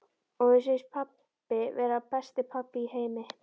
Og mér fannst pabbi vera besti pabbi í heimi.